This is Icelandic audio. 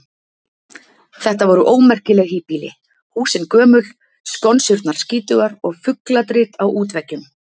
Þetta voru ómerkileg híbýli: húsin gömul, skonsurnar skítugar og fugladrit á útveggjum.